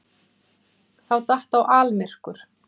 Þá datt á almyrkur.